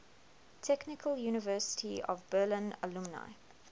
technical university of berlin alumni